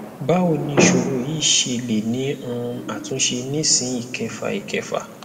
bawo ni isoro yi se le ni um atunse nisin ikefa ikefa